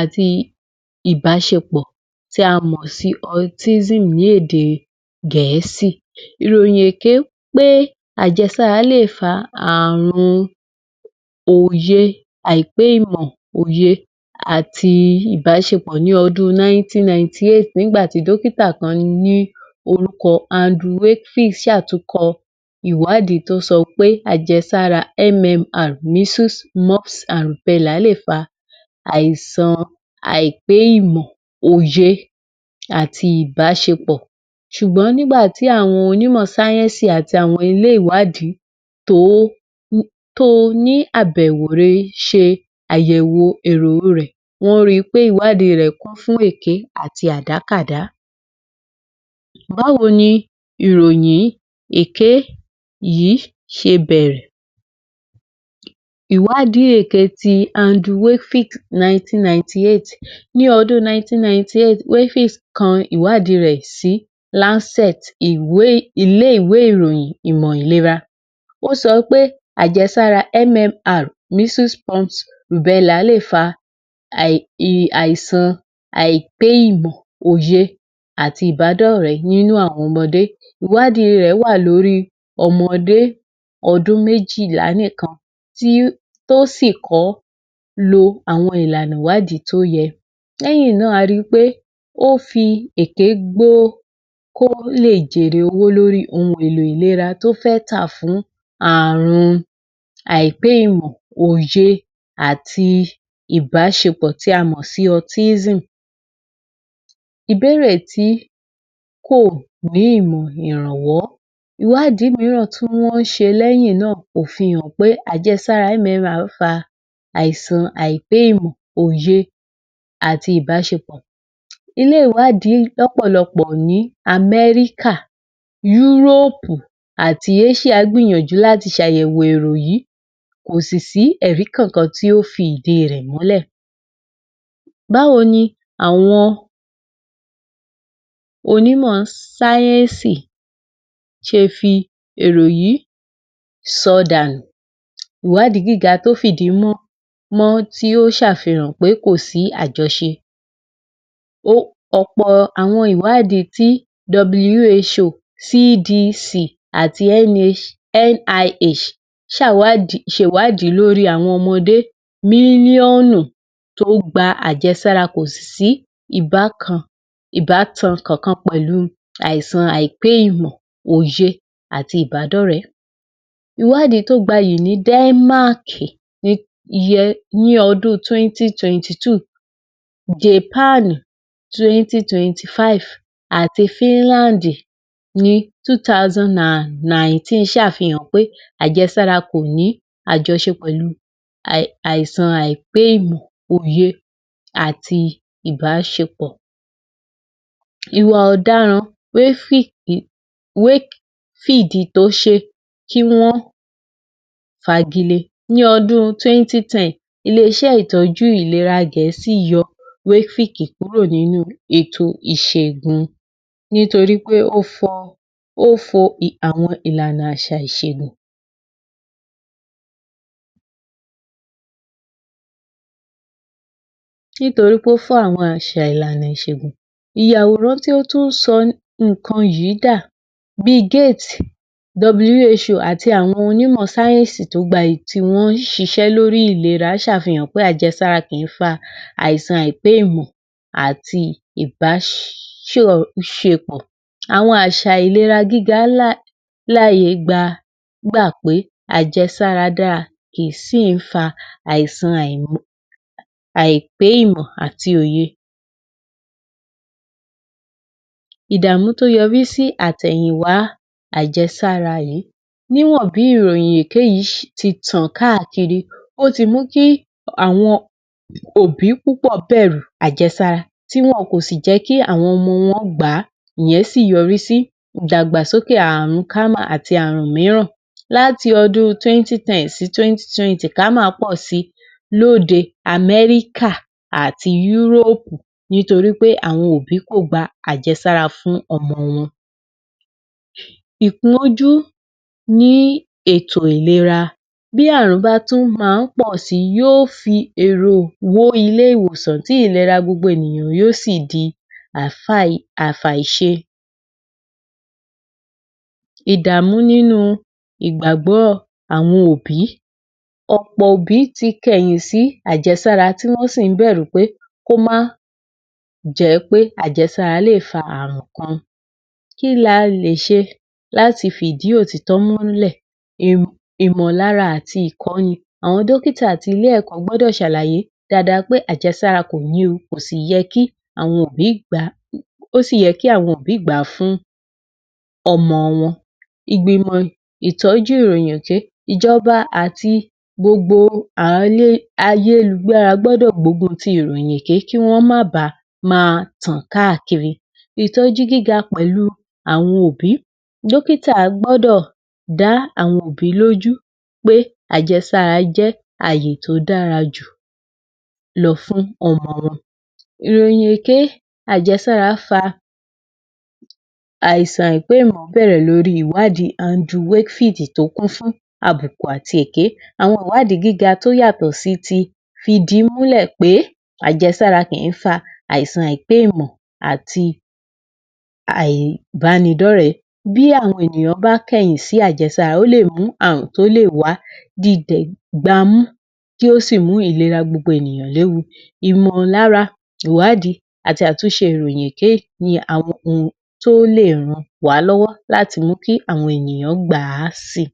àti ìbáṣepọ̀ tí a mọ̀ sí autism ní èdè gẹ̀ẹ́sì Ìròyìn èké pé àjẹsára lè fa àrùn òye àìpé ìmọ̀ òye àti ìbáṣepọ̀ ní ọdún 1998 nígbà tí dọ́kítà kan ní orúkọ Andrew Wayfield ṣàtúnkọ ìwádìí tó sọ pé àjẹsára MMR measles lè fa àìsàn àìpé ìmọ̀ àti ìbáṣepọ̀ ṣùgbọ́n nígbà tí àwọn onímọ̀ sáyẹ́nsì àti àwọn ilé ìwádìí tó ní àbẹ̀wò rẹ̀ ṣe àyẹ̀wò èrò rẹ̀, wọ́n ri pé ìwádìí rẹ̀ kún fún èké àti àdákàdá Báwo ní ìròyìn èké yìí ṣe bẹ̀rẹ̀ Ìwádìí èké ti Andrew wakefield 1998 ní ọdún 1998 wakefield kọ ìwádìí rẹ̀ sí Lanset ilé-ìwé ìròyìn ìmọ̀ ìlera Wọ́n sọ pé àjẹsára MMR Measles lè fa àìsan àìpé ìmọ̀ òye àti ìbádọ́rẹ̀ nínú àwọn ọmọdé. Ìwádìí rẹ̀ wà lórí ọmọdé ọdún méjìlá nìkan tó sì kọ́ lo àwọn ìlànà ìwádìí tó yẹ. Lẹ́yìn náà a ri pé ó fi èké gbó kó lè jèrè owó lórí ohun èlò ìlera tó fẹ́ tà fún àrùn àìpé ìmọ̀ àti ìbáṣepọ̀ tí a mọ̀ sí autism Ìbéèrè tí kò ní ìmọ̀ ìrànwọ́ ìwádìí mìíràn tí wọ́n ṣe lẹ́yìn náà kò fi hàn pé àjẹsára máa ń fa àìsàn àìpé ìmọ̀, òye àti ìbáṣepọ̀. Ilé ìwádìí lọ́pọ̀lọpọ̀ ní America Europe àti Asia gbìyànjú láti ṣe àyẹ̀wò èrò yìí kò sì sí ẹ̀rí kankan tí ó fi ìdí rẹ̀ múlẹ̀ Báwo ni àwọn onímọ̀ sáyẹ́nsì ṣe fi èrò yìí sọ dànù? Ìwádìí gíga tó fi ìdí múv mọ́ tí ó ṣe àfihàn pé kò sí àjọṣe ọ̀pọ̀ àwọn ìwádìí tí WHO, CDC, àti NIH ṣe ìwádìí lórí àwọn ọmọdé nínú ọ̀nà tó gba àjẹsára kò sì sí ìbátan kankan pẹ̀lú àìsàn àìpé ìmọ̀, òye àti ìbádọ́rẹ̀ẹ́ Ìwádìí tó gbayì ní Denmark ní odún 2022, Japan 2025, àti Finland ní 2019 ṣe àfihàn pé àjẹsára kò ní àjọṣe pẹ̀lú àìsàn àìpé ìmọ̀, òye àti ìbáṣepọ̀ Ìwà ọ̀daràn waayfield yìí wakefield tó ṣe kí wọ́n fagi lee ní ọdún 2010 ilé-iṣẹ́ ìtọ́jú ìlera gẹ̀ẹ́sì yọ wakefield kúrò nínú ètò ìṣègùn nítorií ó fo ìlànà àwọn àṣà ìṣègùn nítorií ó fo ìlànà àwọn àṣà ìṣègùn ìyàwòrán tí ó tún ń sọ nǹkan yìí dà Billgate, WHO. Àti àwọn onímọ̀ sáyẹ́nsì tó gbayì tí wọ́n ń ṣiṣẹ́ lórí ìlera ṣe àfihàn pé àjẹsára kì í fa àìsàn àìpé ìmọ̀ àti ìbáṣepọ̀ àwọn àsà ìlera gíga gbà pé àjẹsára dáa kì í sì fa àìsàn àìpé ìmọ̀ àti òye ìdàmú tó yọrí sí àtẹ̀yìn wá àjẹsára yìí níwọ̀n bí ìròyìn èké yìí ti tàn káàkiri ó ti mú kí àwọn òbí púpọ̀ bẹ̀rù àjẹsára tí wọn kò sì jẹ́ kí àwọn ọmọ wọn gbà á ìyẹn sì yọrí sí ìdàgbàsókè àrùn kama àti àrùn mìíràn láti ọdún 2010 sí 2020 kámà pọ̀ si lóde America àti Yúrópù nítorí ppé àwọn òbí kò gba àjẹsára fún ọmọ wọn Ìpọ́njú ní ètò ìlera, bí àrùn bá tún máa ń pọ̀ sì yó fi èrò wó ilé-ìwòsàn tí ìlera gbogbo ènìyàn yóò sì di àfàìṣe ìdàmú nínú ìgbàgbọ́ àwọn òbí ọ̀pọ̀ òbí ti kẹ̀yìn sí àjẹsára tí wọ́n sì ń bẹ̀rù pé kí ó má jẹ́ pé àjẹsára lè fa àrùn kan. Kí ni a lè ṣe láti fi ìdí òtítọ́ múlẹ̀? Ìmọ̀lára àti ìkọ́ni àwọn dọ́kítà ti ilé-ẹ̀kọ́ gbọ́dọ̀ ṣàlàyé dáadáa pé àjésára kò ní ohun ó sì yẹ kí àwọn òbí gbà á fún ọmọ wọn. Ìgbìmọ̀ ìtọ́jú ìròyìn èké ìjọba ti gbogbo ayélujára a gbọ́dọ̀ gbógun ti ìròyìn èké kó má ba máa tàn káàkiri ìtọ́jú gíga pẹ̀lú àwọn òbí, dọ́kítà gbọ́dọ̀ dá àwọn òbí lójú pé àjẹsára jẹ́ àyè tó dára jù lọ fún ọmọ wọn Ìròyìn èké àjẹsára fa àìsàn àìpé ìmọ̀ bẹ̀rẹ̀ lórí ìwádìí Andrew Wakefield tó kún fún àbùkù àti èké. Àwọn ìwádìí gíga tó yàtọ̀ sí ti fi ìdí múlẹ̀ pé àjẹsára kì í fà àìsàn àìpé ìmọ̀ àti àìbánidọ́rẹ̀ẹ́ bí àwọn ènìyàn bá kẹ̀yìn sí àjẹsára ó lè mú àrùn tó lè wá di gbámú kí ó sì mú ìlera gbogbo ènìyàn léwu ìmọ̀lára àti ìwádìí àti àtúnṣe ìròyìn èké tó lè ràn wá lọ́wọ́ láti mú kí àwọn ènìyàn gbà á si